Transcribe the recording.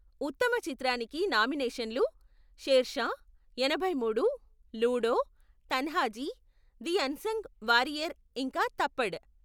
ఉత్తమ చిత్రానికి నామినేషన్లు షేర్షా, ఎనభై మూడు, Ludo, Tanhaji the unsung warrior, ఇంకా థప్పడ్.